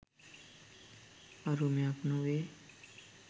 අරුමයක් නොවේ.